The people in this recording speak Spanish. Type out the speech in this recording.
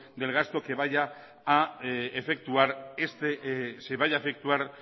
del gasto que vaya a efectuar